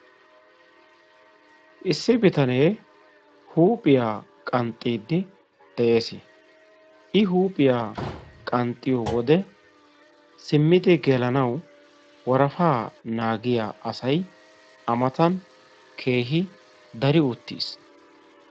issi bitanee huuphiya qanxxidi des. i huuphiya qanxxidi diyo wode huuphiya qanxxisanawu worafaa naagiya asay a matan keehi dari uttiiis.